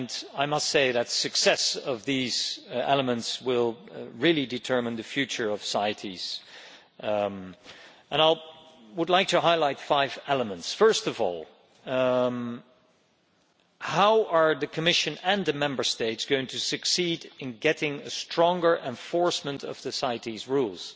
I must say that the success of these elements will really determine the future of CITES, I would like to highlight five elements. First of all, how are the Commission and the Member States going to succeed in getting stronger enforcement of the CITES rules?